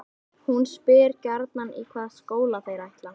Hún spyr gjarnan í hvaða skóla þeir ætli.